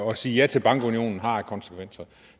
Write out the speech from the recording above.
at sige ja til bankunionen har af konsekvenser